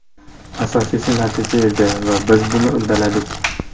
Asosiysi natija edi va biz buni uddaladik.